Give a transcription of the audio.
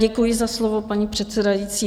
Děkuji za slovo, paní předsedající.